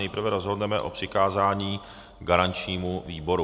Nejprve rozhodneme o přikázání garančnímu výboru.